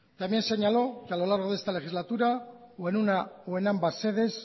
también señaló que a lo largo de esta legislatura o en una o en ambas sedes